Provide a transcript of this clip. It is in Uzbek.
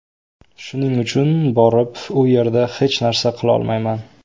Shuning uchun borib u yerda hech narsa qilolmayman.